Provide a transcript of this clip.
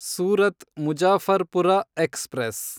Surat Muzaffarpur express